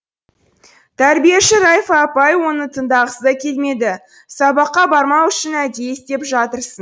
тәрбиеші райфа апай оны тыңдағысы да келмеді сабаққа бармау үшін әдейі істеп жатырсың